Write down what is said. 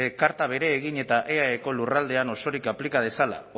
karta bere egin eta eaeko lurraldean osorik aplika dezala